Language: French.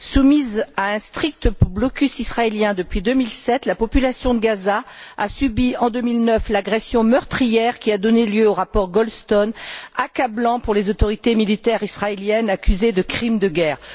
Soumise à un strict blocus israélien depuis 2007, la population de Gaza a subi, en 2009, l'agression meurtrière qui a donné lieu au rapport Goldstone, accablant pour les autorités militaires israéliennes accusées de crimes de guerre.